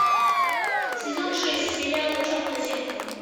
сезон шесть сериала черное зеркало